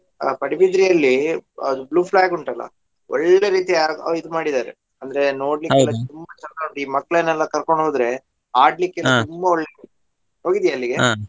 ಆ ಪಡುಬಿದ್ರೆಯಲ್ಲಿ ಅದು blue flag ಉಂಟಲ್ಲಾ ಒಳ್ಳೆ ರೀತಿ ಆ ಇದ್ ಮಾಡಿದಾರೆ ಅಂದ್ರೆ ತುಂಬ ಚಂದ ಉಂಟು ಈ ಮಕ್ಕ್ಳನೆಲ್ಲಾ ಕರ್ಕೊಂಡು ಹೋದ್ರೆ ತುಂಬಾ ಒಳ್ಳೆದುಂಟು ?